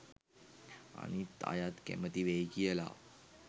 අනිත් අයත් කැමති වෙයි කියලා